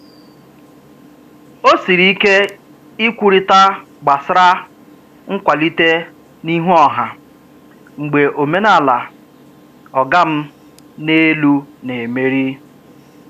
O siri ike ikwurịta gbasra nkwalite n'ihu ọha mgbe omenala "ọga m n'elu" na-emeri.